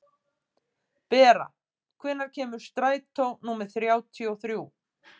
Bera, hvenær kemur strætó númer þrjátíu og þrjú?